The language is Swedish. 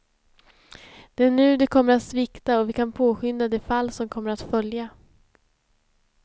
Det är nu det kommer att svikta och vi kan påskynda det fall som kommer att följa.